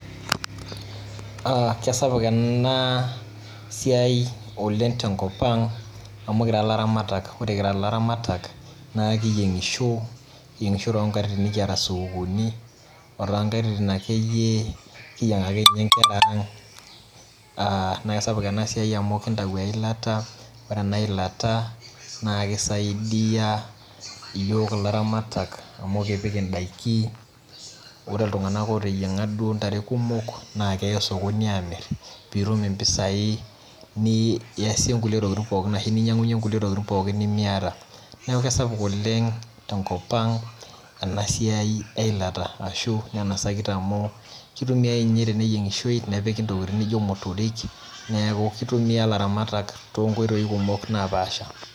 Kisapuk enaa siai oleng' tenkop ang' amuu kira laramatak ore kira ilaramatak kiyengisho too nkatitin nikiyata sukukuni kuna katitin akeyie kiyengaki nkera naa kisapuk ena siai amu kitayu eilata naa ore ena ilta keisaidia iyiok ilaramatak amu kipik idaikin ore iltung'ana oteiyanga duo ntare kumok neya sokoni pee etum impasai niyasie kulie siatin pookin ahsu niyangunyie kulie tokitin pookin nimiyata neeku kisapuk oleng' ena siai tenkop ang ashu kitumiai ninye teneyiongishoi nepiki intokitin naijo motorik neeku kitumia ilaramatak too nkotoi kumok napaasha